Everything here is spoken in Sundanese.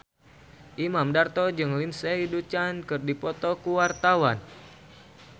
Imam Darto jeung Lindsay Ducan keur dipoto ku wartawan